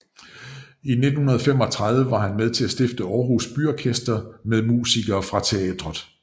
I 1935 var han med til at stifte Århus Byorkester med musikere fra teatret